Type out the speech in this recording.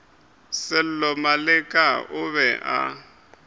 sello maleka o be a